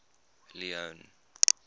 leone